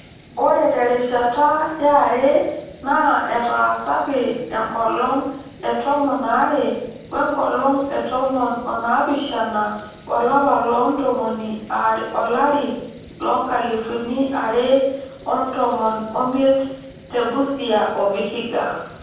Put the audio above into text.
Ore terishata yare naa etaasaki enkolong e tomon aare we nkolong etomon onaapishana olapa le tomon olari loo nkalifuni are otomon omiet te Busia o Vihiga.